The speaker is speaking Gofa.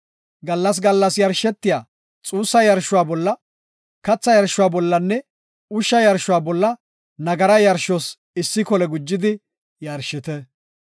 Gallas gallas yarshetiya xuussa yarshuwa bolla, katha yarshuwa bollanne ushsha yarshuwa bolla nagara yarshos issi kole gujidi yarshite.